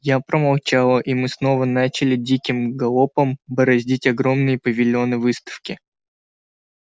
я промолчала и мы снова начали диким галопом бороздить огромные павильоны выставки